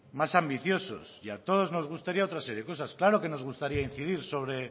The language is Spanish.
más ambiciosos y a todos nos gustaría otra serie de cosas claro que nos gustaría incidir